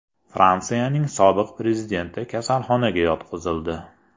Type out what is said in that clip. Fransiyaning sobiq prezidenti kasalxonaga yotqizildi.